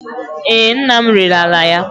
Ee, nna m rere ala ya.